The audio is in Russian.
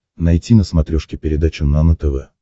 найти на смотрешке передачу нано тв